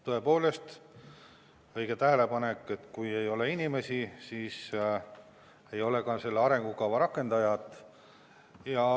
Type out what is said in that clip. Tõepoolest õige tähelepanek, et kui ei ole inimesi, siis ei ole ka selle arengukava rakendajat.